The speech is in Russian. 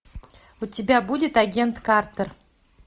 у тебя будет агент картер